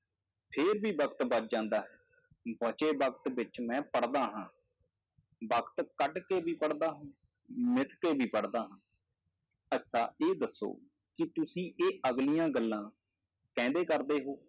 ਫਿਰ ਵੀ ਵਕਤ ਬਚ ਜਾਂਦਾ ਹੈ, ਬਚੇ ਵਕਤ ਵਿੱਚ ਮੈਂ ਪੜ੍ਹਦਾ ਹਾਂ, ਵਕਤ ਕੱਢ ਕੇ ਵੀ ਪੜ੍ਹਦਾ ਹਾਂ, ਮਿੱਥ ਕੇ ਵੀ ਪੜ੍ਹਦਾ ਹਾਂ ਅੱਛਾ ਇਹ ਦੱਸੋ ਕਿ ਤੁਸੀਂ ਇਹ ਅਗਲੀਆਂ ਗੱਲਾਂ ਕਹਿੰਦੇ ਕਰਦੇ ਹੋ,